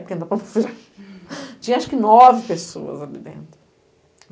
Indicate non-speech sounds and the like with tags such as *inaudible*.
*unintelligible* Tinha acho que nove pessoas ali dentro.